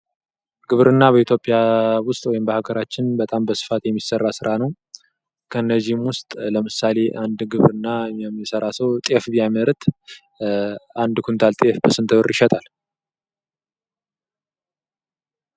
ግብርና በኢትዮጵያ ውስጥ ወይም በሀገራችን በጣም በስፋት የሚሰራ ስራ ነው። ከነዚህ ውስጥ ለምሳሌ አንድ ግብርና የሚሰራ ሰው ጤፍ ቢያመርት አንድ ኩንታል ጤፍ በስንት ብር ይሸጣል?